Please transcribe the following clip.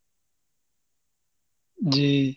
জি।